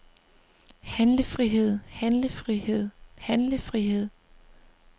handlefrihed handlefrihed handlefrihed